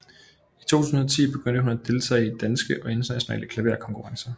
I 2010 begyndte hun at deltage i danske og internationale klaverkonkurrencer